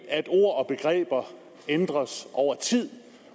at ord og begreber ændres over tid